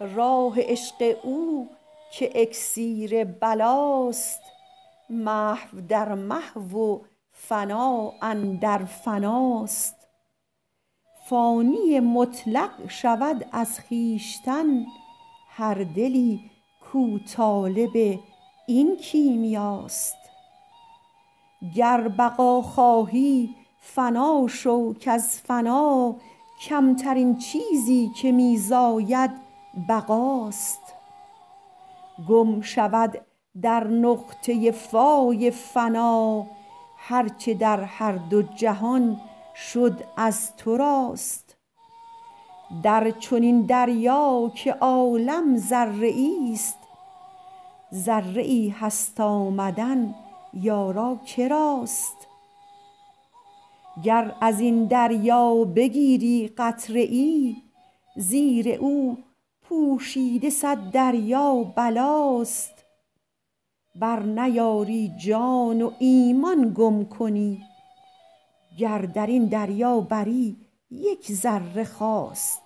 راه عشق او که اکسیر بلاست محو در محو و فنا اندر فناست فانی مطلق شود از خویشتن هر دلی کو طالب این کیمیاست گر بقا خواهی فنا شو کز فنا کمترین چیزی که می زاید بقاست گم شود در نقطه فای فنا هر چه در هر دو جهان شد از تو راست در چنین دریا که عالم ذره ای است ذره ای هست آمدن یارا کراست گر ازین دریا بگیری قطره ای زیر او پوشیده صد دریا بلاست برنیاری جان و ایمان گم کنی گر درین دریا بری یک ذره خواست